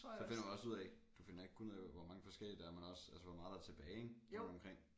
Så finder man også ud af du finder ikke kun ud af hvor mange forskellige der er men også altså hvor meget der er tilbage ik rundt omkring